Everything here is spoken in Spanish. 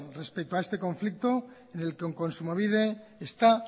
respecto a este conflicto en el que kontsumobide está